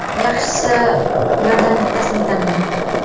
Yaxshisi, ulardan bittasini tanlang.